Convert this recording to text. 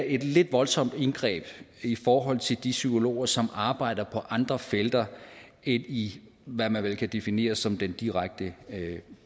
et lidt voldsomt indgreb i forhold til de psykologer som arbejder på andre felter end i hvad man vel kan definere som den direkte